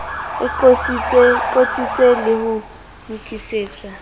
e qotsitswe le ho lokisetswa